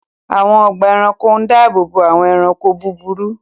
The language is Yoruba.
Àwọn ọgbà ẹranko ń dáàbòbò àwọn ẹranko búburú